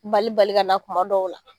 balibali ka na kuma dɔw la.